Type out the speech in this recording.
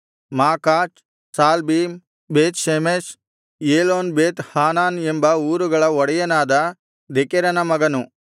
Makaz Shaalbim Bethshemesh Elon Beth Hanan ಎಂಬ ಊರುಗಳ ಒಡೆಯನಾದ ದೆಕೆರನ ಮಗನು